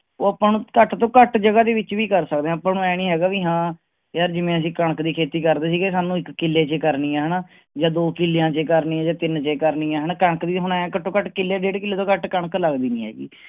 ਉਹ ਆਪਾਂ ਨੂੰ ਘੱਟ ਤੋਂ ਘੱਟ ਜਗ੍ਹਾ ਦੇ ਵਿੱਚ ਵੀ ਕਰ ਸਕਦੇ ਹਾਂ ਆਪਾਂ ਨੂੰ ਇਉਂ ਨੀ ਹੈਗਾ ਵੀ ਹਾਂ, ਯਾਰ ਜਿਵੇਂ ਅਸੀਂ ਕਣਕ ਦੀ ਖੇਤੀ ਕਰਦੇ ਸੀਗੇ ਸਾਨੂੰ ਇੱਕ ਕਿੱਲੇ ਚ ਕਰਨੀ ਆਂ ਹਨਾ ਜਾਂ ਦੋ ਕਿੱਲਿਆਂ ਚ ਕਰਨੀ ਆਂ ਜਾਂ ਤਿੰਨ ਚ ਕਰਨੀ ਆਂ, ਹਨਾ ਕਣਕ ਦੀ ਹੁਣ ਆਏਂ ਘੱਟੋ ਘੱਟ ਕਿੱਲੇ ਡੇਢ ਕਿੱਲੇ ਤੋਂ ਘੱਟ ਕਣਕ ਲੱਗਦੀ ਨੀ ਹੈਗੀ।